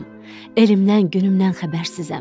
Elimdən, günümdən xəbərsizəm.